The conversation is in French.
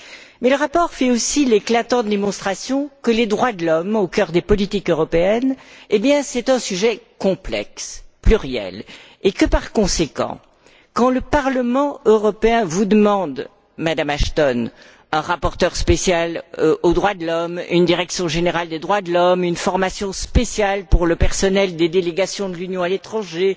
Mais le rapport fait aussi l'éclatante démonstration que les droits de l'homme, au cœur des politiques européennes, sont un sujet complexe, pluriel et que, par conséquent, quand le Parlement européen vous demande, Mme Ashton, un rapporteur spécial aux droits de l'homme, une direction générale des droits de l'homme, une formation spéciale pour le personnel des délégations de l'Union à l'étranger,